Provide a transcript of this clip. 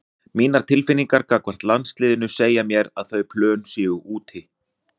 Mínar tilfinningar gagnvart landsliðinu segja mér að þau plön séu úti.